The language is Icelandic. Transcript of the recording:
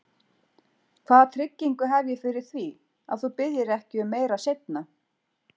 Hvaða tryggingu hef ég fyrir því, að þú biðjir ekki um meira seinna?